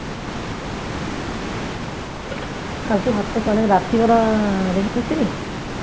কালকে ভাতটা কি অনেক রাত্রিবেলা রেঁধেছিলি